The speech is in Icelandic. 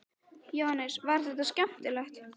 Jóhannes: Var þetta skemmtilegt?